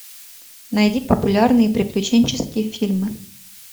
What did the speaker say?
найди популярные приключенческие фильмы